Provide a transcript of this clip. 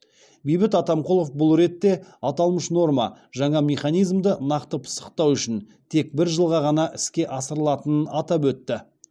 бейбіт атамқұлов бұл ретте аталмыш норма жаңа механизмді нақты пысықтау үшін тек бір жылға ғана іске асырылатынын атап өтті